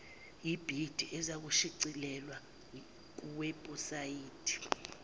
yebhidi izakushicilelwa kuwebhusayidi